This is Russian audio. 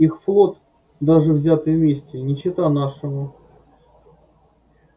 их флот даже взятый вместе не чета нашему